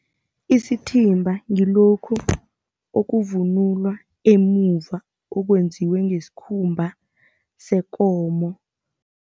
Isithimba ngilokhu okuvunulwa emuva, okwenziwe ngesikhumba sekomo.